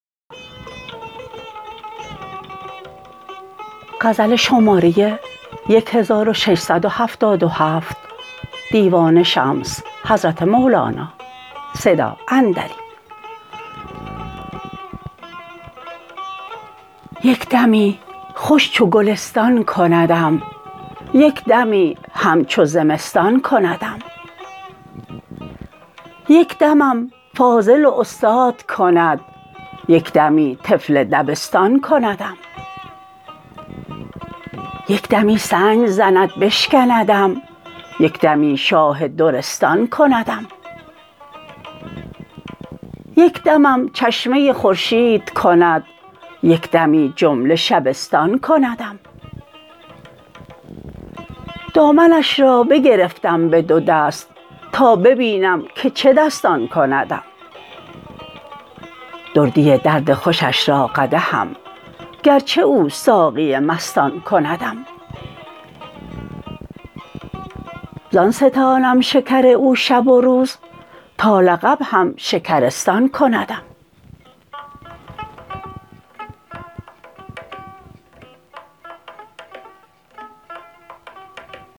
یک دمی خوش چو گلستان کندم یک دمی همچو زمستان کندم یک دمم فاضل و استاد کند یک دمی طفل دبستان کندم یک دمی سنگ زند بشکندم یک دمی شاه درستان کندم یک دمم چشمه خورشید کند یک دمی جمله شبستان کندم دامنش را بگرفتم به دو دست تا ببینم که چه دستان کندم دردی درد خوشش را قدحم گرچه او ساقی مستان کندم زان ستانم شکر او شب و روز تا لقب هم شکرستان کندم